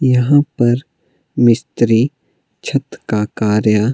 यहाँ पर मिस्त्री छत का कार्य--